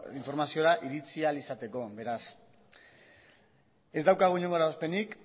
informaziora iritsi ahal izateko beraz ez daukagu inolako eragozpenik